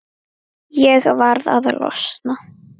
Ég varð að losna.